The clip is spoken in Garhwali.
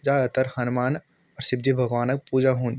जादातर हनुमान अ शिवजी भगवान क पूजा हुन्द।